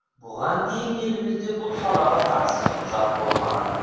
бұған дейін елімізде бұл салаға қатысты құжат болмаған